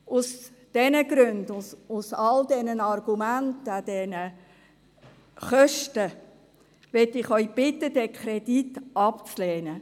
Aus diesen Gründen, aufgrund all dieser Argumente, auch wegen der Kosten, möchte ich Sie bitten, diesen Kredit abzulehnen.